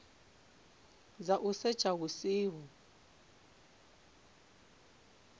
dza u setsha hu siho